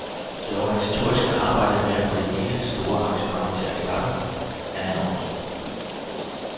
Det organisatoriske arbejde med at få hele det store arrangement til at klappe er enormt.